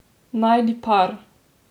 Najdi par!